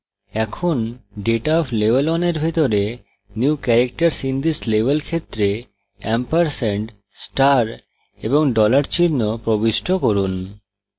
এখন data of level 1 এর ভিতরে এই level ক্ষেত্রে new characters এ এম্পরস্যান্ড star এবং dollar চিহ্ন প্রবিষ্ট করুন